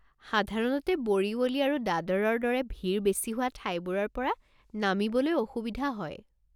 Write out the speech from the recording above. সাধাৰণতে ব'ৰিৱলী আৰু দাদৰৰ দৰে ভিৰ বেছি হোৱা ঠাইবোৰৰ পৰা নামিবলৈ অসুবিধা হয়।